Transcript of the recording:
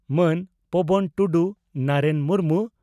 ᱢᱟᱱ ᱯᱚᱵᱚᱱ ᱴᱩᱰᱩ ᱱᱟᱨᱮᱱ ᱢᱩᱨᱢᱩ